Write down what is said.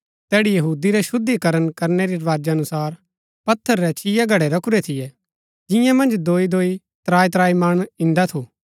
तैड़ी यहूदी रै शुद्धी करण करनै री रवाजा अनुसार पत्थर रै छिया घड़ै रखुरै थियै जियां मन्ज दोईदोई त्राईत्राई मण इन्दा थू